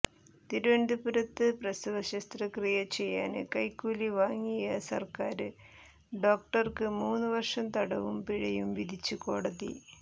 തിരുവനന്തപുരത്ത് പ്രസവ ശസ്ത്രക്രിയ ചെയ്യാന് കൈക്കൂലി വാങ്ങിയ സര്ക്കാര് ഡോക്ടര്ക്ക് മൂന്ന് വര്ഷം തടവും പിഴയും വിധിച്ച് കോടതി